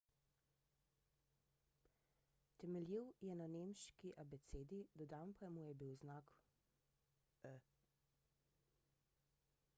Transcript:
temeljil je na nemški abecedi dodan pa mu je bil znak õ/õ